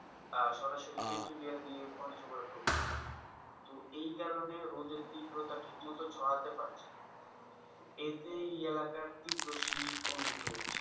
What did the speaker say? আহ সরাসরি তেঁতুলিয়া দিয়ে পঞ্চগড়তে প্রবেশ করেছে তো এই কারণে রোদের তীব্রতা ঠিকমতো ছড়াতে পারছেনা এতে এই এলাকার তীব্র শীত অনুভূত হচ্ছে,